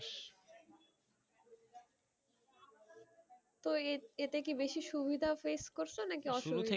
তো এ~ এতে কি বেশি সুবিধা face করছো নাকি অসুবিধা?